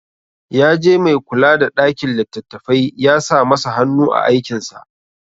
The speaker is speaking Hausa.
Ya je mai kula da ɗakin littattafai ya sa masa hanu a aikinsa.